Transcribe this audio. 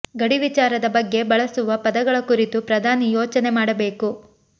ಗಡಿ ವಿಚಾರದ ಬಗ್ಗೆ ಬಳಸುವ ಪದಗಳ ಕುರಿತು ಪ್ರಧಾನಿ ಯೋಚನೆ ಮಾಡಬೇಕು